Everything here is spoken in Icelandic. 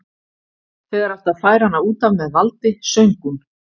Þegar átti að færa hana út af með valdi söng hún